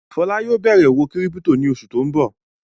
Fọlá yóò bẹ̀rẹ̀ òwò kírípító ní oṣù tó ń bọ̀.